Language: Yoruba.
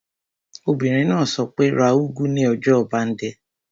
Obìnrin náà sọ pé, 'ra úgú ní ọjà ọbándẹ́!